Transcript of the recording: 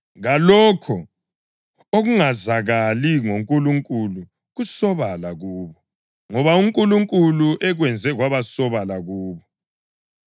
kalokho okungazakala ngoNkulunkulu kusobala kubo, ngoba uNkulunkulu ekwenze kwabasobala kubo.